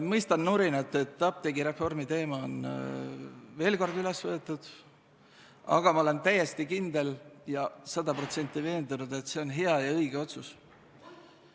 Ma mõistan nurinat, et apteegireformi teema on veel kord üles võetud, aga ma olen täiesti kindel, sada protsenti veendunud, et see on hea ja õige otsus.